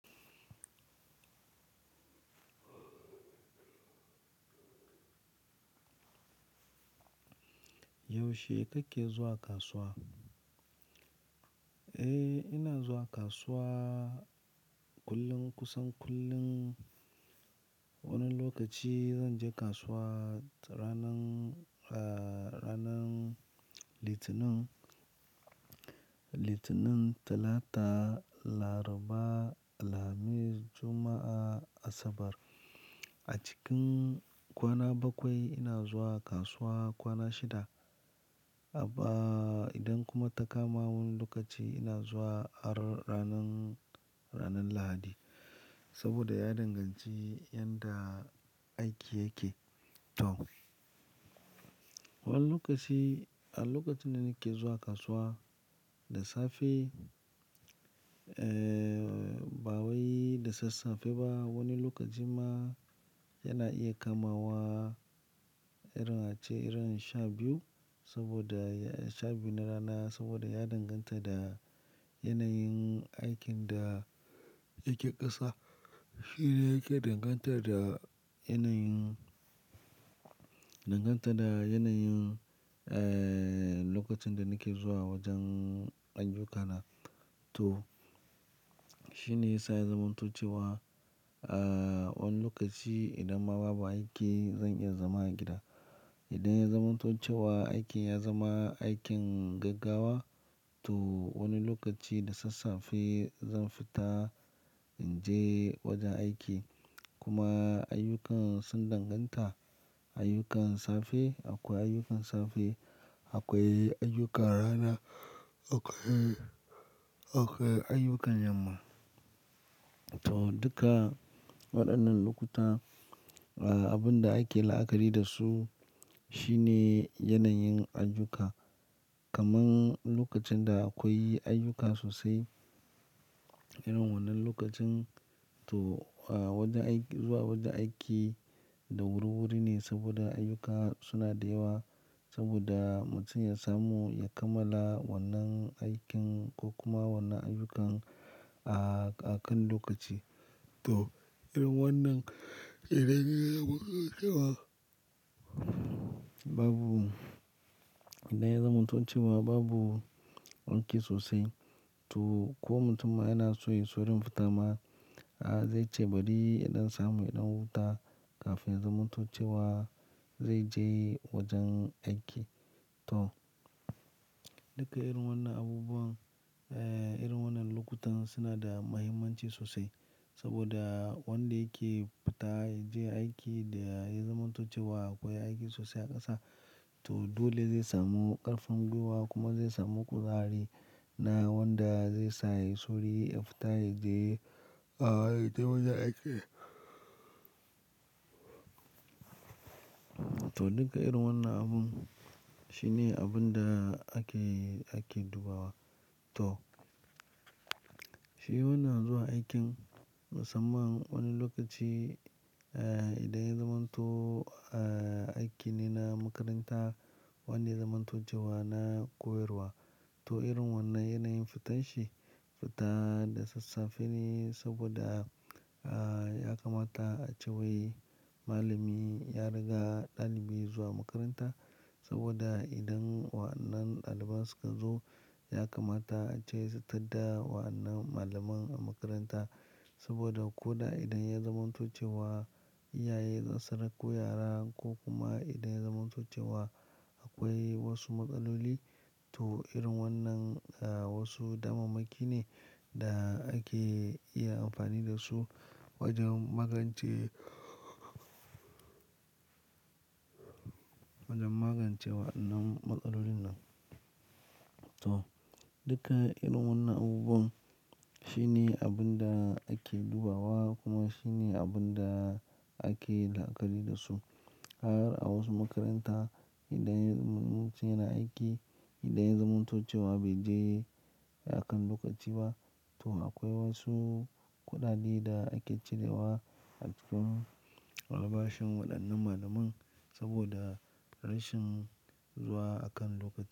Yaushe kake zuwa kasuwa? Eh, ina zuwa kasuwa kullum kusan kullum. Wani lokaci zan je kasuwa ranan, ranan Litinin, Litinin, Talata, Laraba, Lamis, Juma'a, Asabar. A cikin kwana bakwai ina zuwa kasuwa kwana shida. Abba idan kuma ta kama wani lokaci ina zuwa ranan, ranan Lahadi. Saboda ya danganci inda aiki yake. To, wani lokaci a lokacin da nake zuwa kasuwa da safe, ba wai da sassafe ba. Wani lokaci ma yana iya kamawa irin ace irin sha biyu saboda sha biy na rana saboda ya danganta da yanayin aikin da yake ƙasa. Shi ne yake danganta da yanayin, danganta da yanayin lokacin da nake zuwa wajen ayyukana. To, shine yasa ya zamantocewa wani lokaci idan ma babu aiki zan iya zama a gida. Idan ya zamantocewa aikin ya zama aikin gaggawa, to wani lokaci da sassafe zan fita in je wajen aiki. Kuma ayyukan sun danganta ayyukan safe. Akwai ayyukan safe, akwai ayyukan rana, akwai, akwai ayyukan yamma. To, duka waɗannan lokuta, abin da ake la'akari da su shine yanayin ayyuka. Kaman lokacin da akwai ayyuka sosai, irin wannan lokacin to wajen aiki, zuwa wajen aiki da wuri-wuri ne saboda ayyuka suna da yawa saboda mutum ya samu ya kammala wannan aikin ko kuma wannan ayyukan a kan lokaci. To, irin wannan idan ya zamantocewa babu wanki sosai to ko mutum yana so ya saurin fita ma a zai ce bari ya dan samu ya dan huta kafin ya zamantocewa zai je wajen aiki. To, duka irin wannan abubuwan, irin wannan lokutan suna da muhimmanci sosai saboda wanda yake fita ya je aiki da ya yi zamantocewa akwai aiki sosai a ƙasa. To, dole zai samu ƙarfin gwiwa kuma zai samu kuzari. Na wanda zai sa ya yi sauri ya fita ya je, ya je wajen aiki. To, duka irin wannan abun shine abun da ake, ake dubawa. To, shi wannan zuwa aikin musamman wani lokaci idan ya zamanto aiki ne na makaranta wanda ya zamantocewa na koyarwa. To, irin wannan yanayin fitan shi fita da sassafe ne saboda ya kamata a ce wai malami ya riga ɗalibi zuwa makaranta saboda idan wannan ɗaliban suka zo ya kamata ace su taɗa wannan malamin a makaranta. Saboda ko da idan ya zamantocewa iyaye za su rako yara ko kuma idan ya zamantocewa akwai wasu matsaloli. To, irin wannan wasu damamaki ne da ake iya amfani da su wajen magance, wajen magance wannan matsalolin nan. To, duka irin wannan abubuwan shine abun da ake dubawa kuma shine abin da ake la'akari da su. Har a wasu makaranta idan mutum yana aiki, idan ya zamantocewa bai je a kan lokaci ba. To, akwai wasu kuɗaɗe da ake cirewa a cikin albashin waɗannan malaman saboda rashin zuwa a kan lokaci.